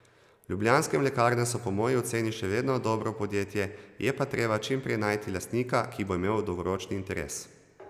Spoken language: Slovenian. Ljubljanske mlekarne so po moji oceni še vedno dobro podjetje, je pa treba čim prej najti lastnika, ki bo imel dolgoročni interes.